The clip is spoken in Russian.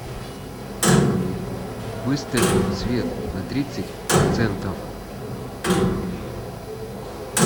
выставь свет на тридцать процентов